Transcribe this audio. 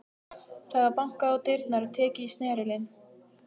Það var bankað á dyrnar og tekið í snerilinn.